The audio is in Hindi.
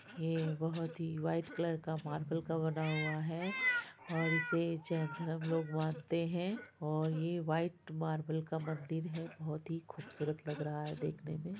ये बहुत ही वाइट कलर का मार्बल का बना हुआ है और इसे जैन धरम लोग मानते है और ये वाइट मार्बल का मंदिर है बहुत ही खूबसूरत लग रहा है देखने में ।